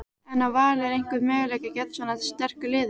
En á Valur einhvern möguleika gegn svona sterku liði?